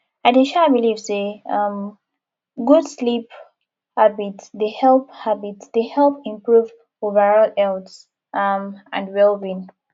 i dey um believe say um good sleep habits dey help habits dey help improve overall health um and wellbeing